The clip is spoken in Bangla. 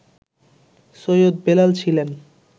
সৈয়দ বেলাল ছিলেন